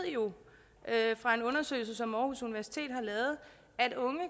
jo fra en undersøgelse som aarhus universitet har lavet at unge